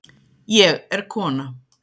Ég er kona.